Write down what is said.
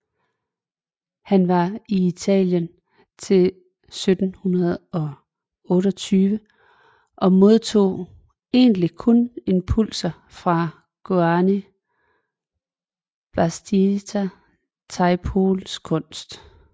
Han var i Italien til 1728 og modtog egentlig kun impulser fra Giovanni Battista Tiepolos kunst